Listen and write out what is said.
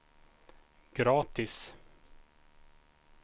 gratis